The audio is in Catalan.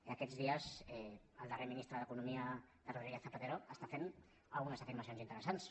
i aquests dies el darrer ministre d’economia de rodríguez zapatero està fent algunes afirmacions interessants